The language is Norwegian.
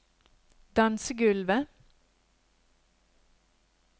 dansegulvet